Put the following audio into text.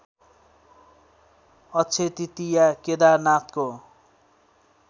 Akshay Tritiya केदारनाथको